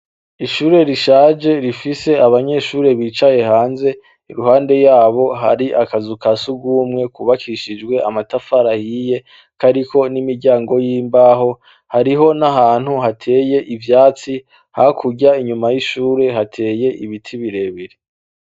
Ishure rishaje rifise abanyeshure bicaye hanze iruhande yabo hari akazu ka sugumwe kubakishijwe amatafari ahiye kariko n'imiryango y'imbaho hariho n'ahantu hateye ivyatsi hakurya inyuma y'ishure hateye ibiti birebire.